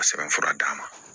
Sɛbɛn fura d'a ma